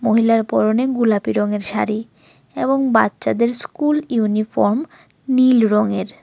মহিলার পরনে গুলাপি রঙের শাড়ি এবং বাচ্চাদের স্কুল ইউনিফর্ম নীল রঙের।